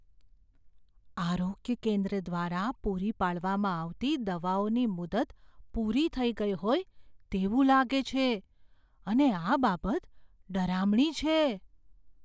આરોગ્ય કેન્દ્ર દ્વારા પૂરી પાડવામાં આવતી દવાઓની મુદત પૂરી થઈ ગઈ હોય તેવું લાગે છે અને આ બાબત ડરામણી છે.